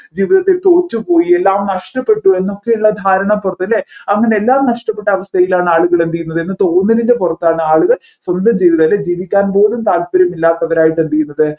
ജീവിതത്തിൽ തോറ്റുപോയി എ എല്ലാം നഷ്ടപ്പെട്ടു എന്നൊക്കെ ഉള്ള ധാരണപുറത് അല്ലെ അങ്ങനെ എല്ലാം നഷ്ടപെട്ട അവസ്ഥയിലാണ് ആളുകൾ എന്ത് ചെയ്യുന്നത് എന്ന തോന്നലിൻെറ പുറത്താണ് ആളുകൾ സ്വന്തം ജീവിതം അല്ലെ ജീവിക്കാൻ പോലും താല്പര്യമില്ലാത്തവരായി എന്ത് ചെയ്യുന്നത്